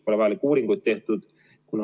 Pole vajalikke uuringuid tehtud.